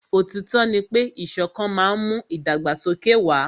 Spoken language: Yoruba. Òtítọ́ ní pé ìṣọ̀kan má n mú ìdàgbàsókè wà.